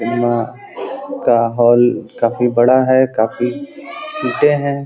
Cinema का hall काफी बड़ा है। काफी सीटें हैं।